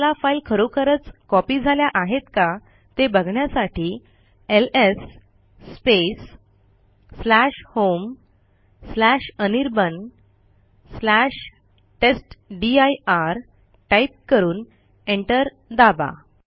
तुम्हाला फाईल खरोखरच कॉपी झाल्या आहेत का ते बघण्यासाठी एलएस homeanirbantestdir टाईप करून एंटर दाबा